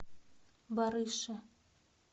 барыше